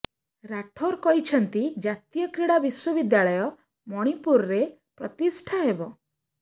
ରାଠୋର କହିଛନ୍ତି ଜାତୀୟ କ୍ରୀଡ଼ା ବିଶ୍ୱବିଦ୍ୟାଳୟ ମଣିପୁରରେ ପ୍ରତିଷ୍ଠା ହେବ